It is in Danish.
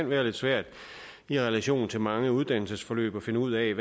være lidt svært i relation til mange uddannelsesforløb at finde ud af